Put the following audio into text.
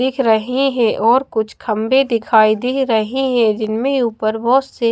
दिख रही है और कुछ खंभे दिखाई दे रहे हैं जिनमें ऊपर बहुत से--